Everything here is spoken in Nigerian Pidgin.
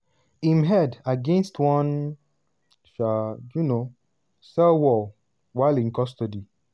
im head against one um um cell wall" while in custody.